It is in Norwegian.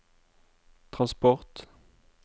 transport